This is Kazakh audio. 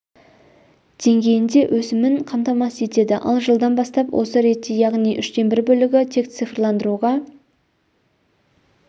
деңгейінде өсімін қамтамасыз етеді ал жылдан бастап осы ретте яғни үштен бір бөлігі тек цифрландыруға